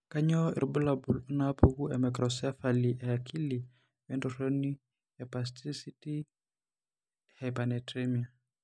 Kainyio irbulabul onaapuku eMicrocephaly eakili entoroni espasticity ehypernatremia?